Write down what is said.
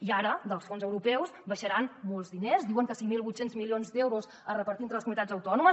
i ara dels fons europeus baixaran molts diners diuen que cinc mil vuit cents milions d’euros a repartir entre les comunitats autònomes